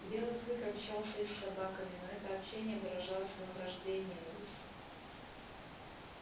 белый клык общался и с собаками но это общение выражалось во вражде и ненависти